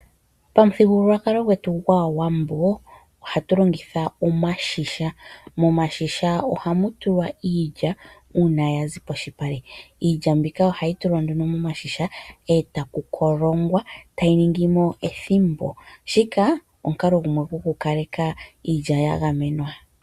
Pamuthigululwakalo gwetu gwAawambo ohatu longitha omashisha. Momashisha ohamu tulwa iilya uuna ya zi polupale. Iilya mbika ohayi tulwa nduno momashisha e taku kolongwa tayi ningi mo ethimbo. Shika omukalo gumwe gokukaleka iilya ya gamwenwa.